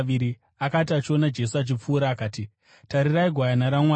Akati achiona Jesu achipfuura akati, “Tarirai, Gwayana raMwari!”